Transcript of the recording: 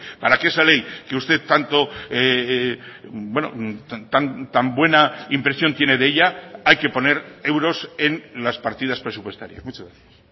para que esa ley que usted tanto tan buena impresión tiene de ella hay que poner euros en las partidas presupuestarias muchas gracias